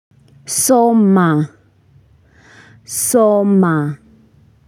Soma Soma.